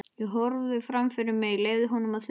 Ég horfði fram fyrir mig, leyfði honum að þusa.